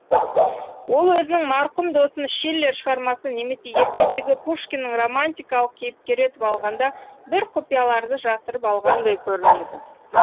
ол өзінің марқұм досын шиллер шығармасы немесе ертедегі пушкиннің романтикалық кейіпкері етіп алғанда бір құпияларды жасырып қалғандай көрінеді